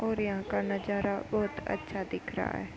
और यहाँ का नजारा बोहोत अच्छा दिख रहा है।